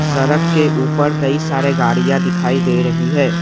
सड़क के ऊपर कई सारे गाड़ियां दिखाई दे रही हैं।